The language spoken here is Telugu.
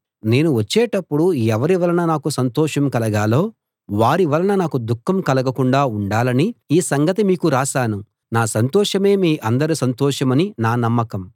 నేను వచ్చేటప్పుడు ఎవరి వలన నాకు సంతోషం కలగాలో వారి వలన నాకు దుఃఖం కలగకుండా ఉండాలని ఈ సంగతి మీకు రాశాను నా సంతోషమే మీ అందరి సంతోషమని నా నమ్మకం